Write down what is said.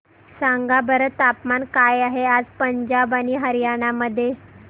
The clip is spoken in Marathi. सांगा बरं तापमान काय आहे आज पंजाब आणि हरयाणा मध्ये